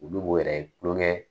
Olu b'o yɛrɛ tuloŋɛ